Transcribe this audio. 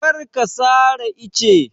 Kar ka sare ice!